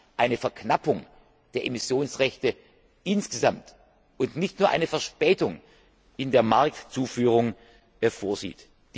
d. h., praktisch eine Verknappung der Emissionsrechte insgesamt und nicht nur eine Verzögerung in der Marktzuführung